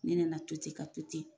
Ne nana to ten ka to ten